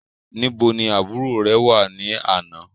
Níbo ni àbúrò rẹ wà ní àná?